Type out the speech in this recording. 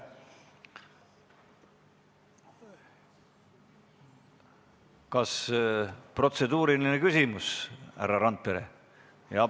Kas protseduuriline küsimus, härra Randpere?